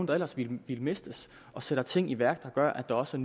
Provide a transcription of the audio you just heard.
der ellers ville blive mistet og sætter ting i værk der gør at der også